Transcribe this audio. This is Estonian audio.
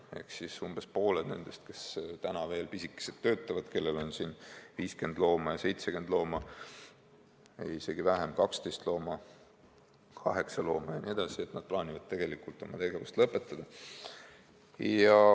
Ehk siis umbes pooled nendest, kes täna veel tegutsevad – kellel on 50 looma, kellel 70 looma, kellel päris vähe, 12 looma, 8 looma jne –, plaanivad tegelikult oma tegevuse lõpetada.